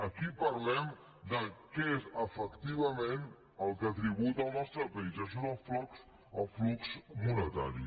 aquí parlem de què és efectivament el que tributa en el nostre país i això és el flux monetari